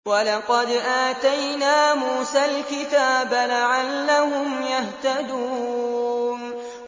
وَلَقَدْ آتَيْنَا مُوسَى الْكِتَابَ لَعَلَّهُمْ يَهْتَدُونَ